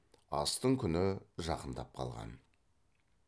астың күні жақындап қалған